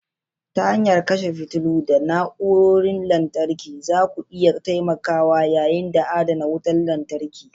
Ta hanyar kashe fitilu da na'urorin lantarki, zaku iya taimakawa yanayi da adana wutar lantarki.